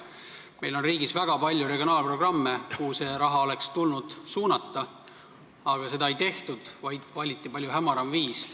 Meil on riigis väga palju regionaalprogramme, kuhu see raha oleks tulnud suunata, aga seda ei tehtud, vaid valiti palju hämaram viis.